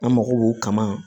An mago b'o kama